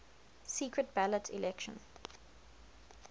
secret ballot election